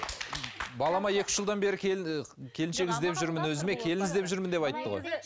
балама екі үш жылдан бері келіншек іздеп жүрмін өзіме келін іздеп жүрмін деп айтты ғой